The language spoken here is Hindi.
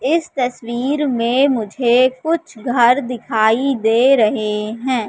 इस तस्वीर में मुझे कुछ घर दिखाई दे रहे हैं।